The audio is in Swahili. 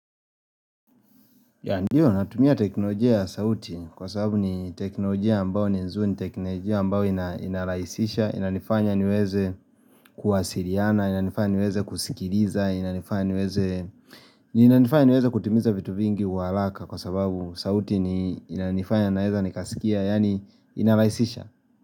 Ndiyo natumia teknolojia ya sauti kwa sababu ni teknolojia ambao ni nzuri ni teknolojia ambao inalaisisha, inanifanya niweze kuwasiliana, inanifanya niweze kusikiliza, inanifanya niweze kutimiza vitu vingi kwa haraka kwa sababu sauti ni inanifanya naweza nikasikia, yaani inalaisisha.